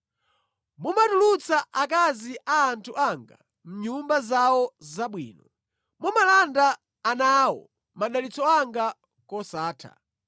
Mumatulutsa akazi a anthu anga mʼnyumba zawo zabwino. Mumalanda ana awo madalitso anga kosatha.